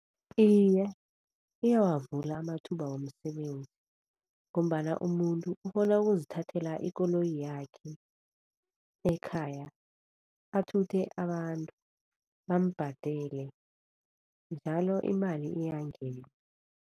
Iye, iyawavula amathuba womsebenzi ngombana umuntu ukghona ukuzithathela ikoloyi yakhe ekhaya athuthe abantu bambhadele, njalo imali iyangena.